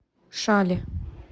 шали